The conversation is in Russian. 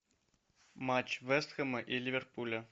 матч вест хэма и ливерпуля